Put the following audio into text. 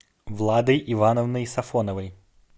владой ивановной сафоновой